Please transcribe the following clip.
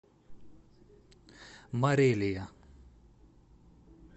морелия